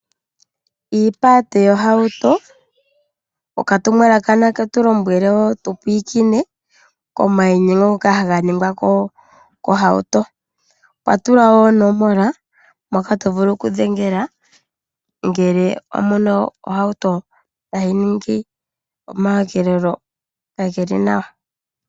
Iipata yohauto, okatumwalaka naketulombwele wo tupwikine komayinyengo ngoka hanganingwa kohauto, opwa tulwa wo onomola poka tovulu oku dhengela ngele omuna ohauto tayi ningi omayogelelo kageli nawa.